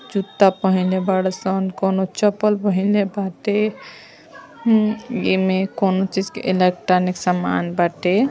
जूता पहिनले बाड़े सन। कउनो चप्पल पहिनले बाटे। एम कउनो चीज के इलेक्ट्रॉनिक सामान बाटे।